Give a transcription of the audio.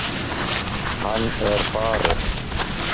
Hann er farinn.